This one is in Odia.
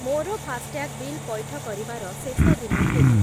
ମୋର ଫାସ୍‌ଟ୍ୟାଗ୍ ବିଲ୍ ପଇଠ କରିବାର ଶେଷ ଦିନ କେବେ?